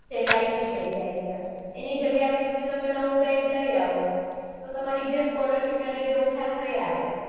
સહેલાઈથી થઇ જાય છે એની જગ્યાએ તમે આવી રીતે નૌ band લઇ આવો તો તમારી જે scholarship ના લીધે ઓછા થયા એ